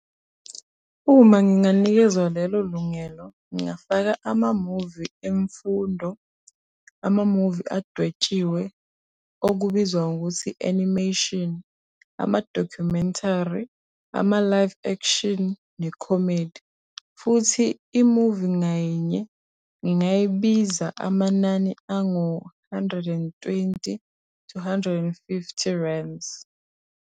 Uma nginganikezwa lelo lungelo ngingafaka ama-movie emfundo, ama-movie adwetshiwe okubizwa ngokuthi animation, ama-documentary, ama-live action ne-comedy. Futhi i-movie ngayinye ngingayibiza amanani angu-hundred and twenty to hundred and fifty rands.